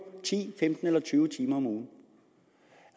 ti femten eller tyve timer om ugen